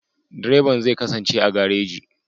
Direban zai kasance a gareji.